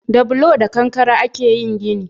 Da bulo da kankare a ke yin gini